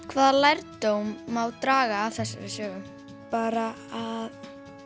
hvaða lærdóm má draga af þessari sögu bara að